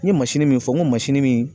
N ɲe min fɔ n ko min